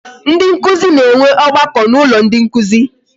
Ndị nkụzi na-enwe ọgbakọ n'ụlọ ndị nkụzi